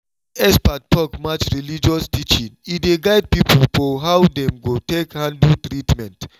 when expert talk match religious teaching e dey guide people for how dem go take handle treatment.